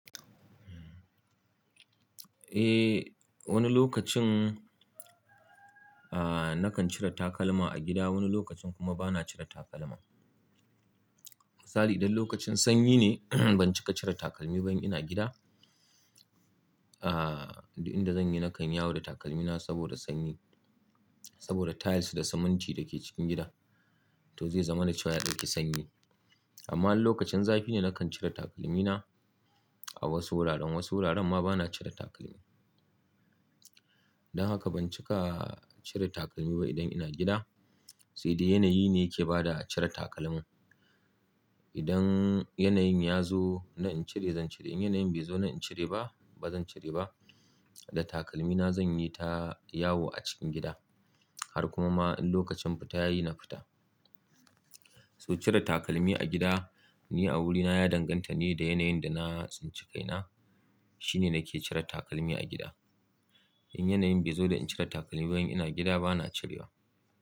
Eh, wani lokacin, ah, nakan cire takalma a gida, wani lokacin kuma bana cire takalma. Misali idan lokacin sanyi ne, ban cika cire takalmi ba in ina gida. Ah, inda zan yi nakan yawo da takalmina saboda sanyi, saboda tiles da siminti da ke cikin gida to zai zama da cewa ya dauki sanyi. Amma in lokacin zafi ne nakan cire takalmina a wasu wuraren, wasu wuraren ma bana cire takalmi. Don haka ban cika cire takalmi ba idan ina gida, sai dai yanayi ne yake bada a cire takalman. Idan yanayin ya zo na in cire zan cire, in yanayin bai zo na in cire ba, bazan cire ba. Da takalmina zan yi ta yawo a cikin gida har kuma ma in lokacin fita yayi na fita. So cire takalmi a gida, ni a wurina ya danganta ne da yanayin da na tsinci kaina. Shine nake cire takalmi a gida. In yanayin bai zo da in cire takalmi ba in ina gida bana cirewa.